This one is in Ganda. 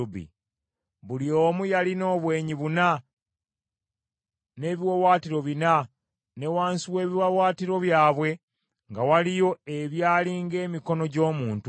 Buli omu yalina obwenyi buna n’ebiwaawaatiro bina, ne wansi w’ebiwaawaatiro byabwe nga waliyo ebyali ng’emikono gy’omuntu.